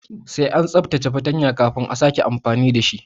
Sai an tsaftace fartanya kafin a sake amfani dashi